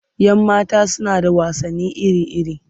Yan mata suna da wasanni iri-iri.